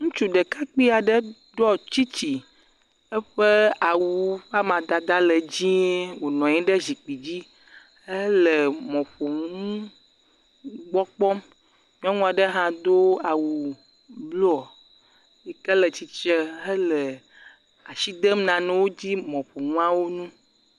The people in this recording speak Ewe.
Ŋutsu ɖekakpui aɖe ɖɔ tsitsi. Eƒe awu ƒe amadada le dziẽ wònɔ anyi ɖe zikpi dzi hele mɔƒonu gbɔ kpɔm. Nyɔnu aɖe hã do awu blɔɔ yi ke le tsi tsre hele ashi dem nanewo dzi, mɔƒonuawo ŋu.